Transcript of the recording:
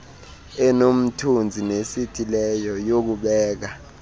enomthunzi nesithileyo yokubeka